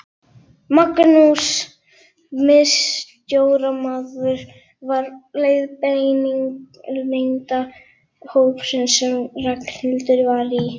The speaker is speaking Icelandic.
Magnús miðstjórnarmaður var leiðbeinandi hópsins sem Ragnhildur var í.